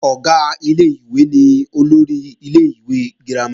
Ọ̀gá ilé-ìwé ni olórí ilé-ìwé girama